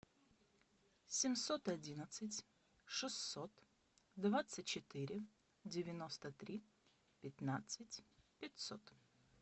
семьсот одиннадцать шестьсот двадцать четыре девяносто три пятнадцать пятьсот